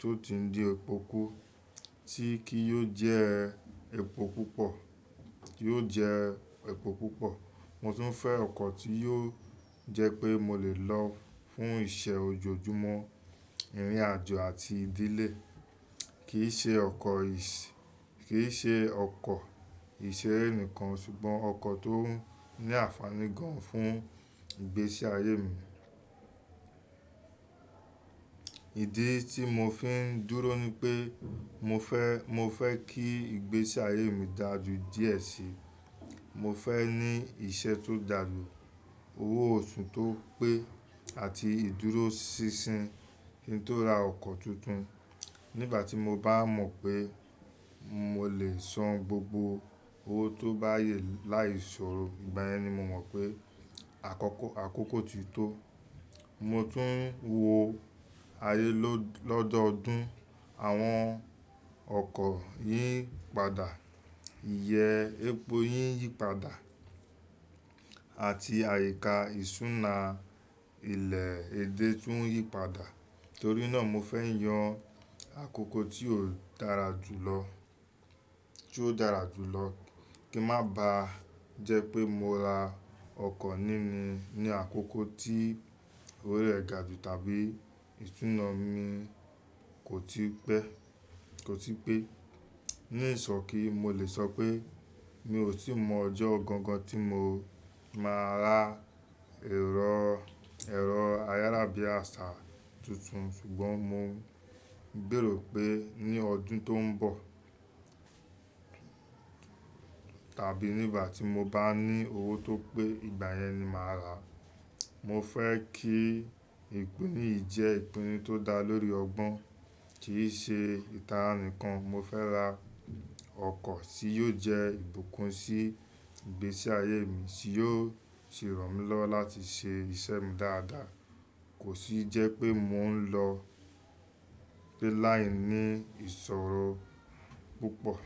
tó ti ń di epo kú tí kí yóò jẹ epo púpọ̀. Mo tún fẹ́ ọkọ̀ tí yóò jẹ́ pé mo lè lọ fún iṣe ojoojúmọ́, ìrìnàjò àti ìdílé, kì í ṣe ọkọ̀ ìṣere nìkan ṣùgbọ́n ọkọ̀ tó ní àfàní gan fún ìgbésí ayé mi. Ìdí tí mo fi ń dúró ni pé mo fẹ́ kí ìgbésí ayé mi dáa ju díẹ̀ síi. Mo fẹ́ ní iṣẹ́ tó dàlú, owó oṣù tó pé àti ìdúróṣinṣin kí tó ra ọkọ̀ tuntun. Nígbà tí mo bá mọ̀ pé mo lè san gbogbo owó tó bá yẹ láì ṣòro, ìgbà yẹn ni mo mọ̀ pé àkókò ti tó. Mo tún wo ayé lọ́dọọdún, àwọn ọkọ̀ yí padà, iye epo yìn yí padà àti àyíká ìṣúná ilẹ̀ e dé tún yí padà. Torí náà, mo fẹ́ yàn àkókò tí ó dára jù lọ kí má bàá jẹ́ pé mo ra ọkọ̀ nínú ní àkókò tí orí rẹ̀ ga jù tàbí ìṣúná mi kò tí pẹ́. Ní ìsọ̀ki, mo lè sọ pé mi ò tí ì mọ ọjọ́ ọ̀gangan tí mo máa ra ẹ̀rọ ayáràbí àṣà tuntun ṣùgbọ́n mo ń gbèrò pé ní ọdún tó ń bọ̀ tàbí nígbà tí mo bá ní owó tó pé, ìgbà yẹn ni màá rà á. Mo fẹ́ kí ìpinnu yìí jẹ́ ìpinnu tó dá lórí ọgbọ́n kì í ṣe ìtara nìkan. Mo fẹ́ ra ọkọ̀ tí yóò jẹ́ ìbùkún sí ìgbésí ayé mi tí yóò sì ràn mí lọ́ láti ṣe ìṣe mi dáadáa kò sì jẹ́ pé mò ń lọ pé láìní ìṣòro púpọ̀.